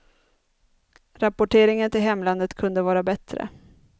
Rapporteringen till hemlandet kunde vara bättre.